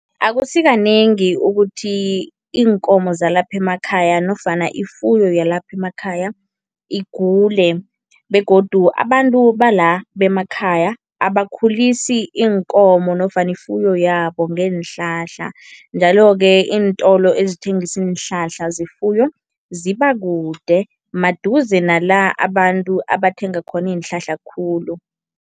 Akusikanengi ukuthi iinkomo zalapha emakhaya nofana ifuyo yalapha emakhaya igule begodu abantu bala bemakhaya abakhulisi iinkomo nofana ifuyo yabo ngeenhlahla, njalo-ke iintolo ezithengisa iinhlahla zefuyo zibakude, maduze nala abantu abathenga khona iinhlahla khulu.